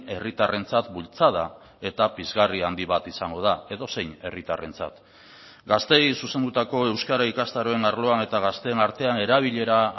herritarrentzat bultzada eta pizgarri handi bat izango da edozein herritarrentzat gazteei zuzendutako euskara ikastaroen arloan eta gazteen artean erabilera